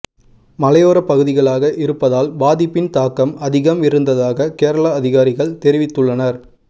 மலையோர பகுதிகளாக இருப்பதால் பாதிப்பின் தாக்கம் அதிகம் இருந்ததாக கேரள அதிகாரிகள் தெரிவித்துள்ளனர்